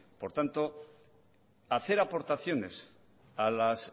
por tanto hacer aportaciones a las